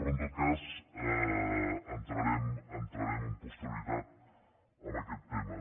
però en tot cas entrarem amb posterioritat en aquest tema